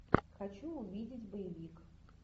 хочу увидеть боевик